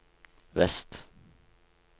vest